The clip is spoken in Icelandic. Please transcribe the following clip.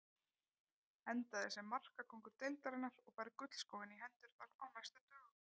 Endaði sem markakóngur deildarinnar og fær gullskóinn í hendurnar á næstu dögum.